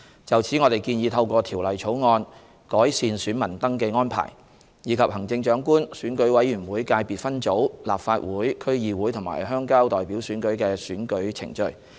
就此，我們建議透過《條例草案》，改善選民登記安排，以及行政長官、選舉委員會界別分組、立法會、區議會和鄉郊代表選舉的選舉程序。